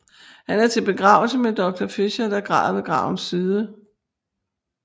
Han er til begravelse med Doctor Fischer der græder ved gravens side